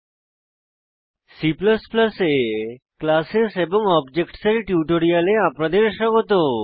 C এ classes এবং objects এর টিউটোরিয়ালে আপনাদের স্বাগত